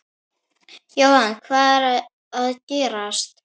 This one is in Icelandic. Jóhann, hvað er að gerast?